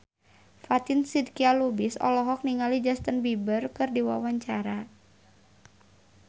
Fatin Shidqia Lubis olohok ningali Justin Beiber keur diwawancara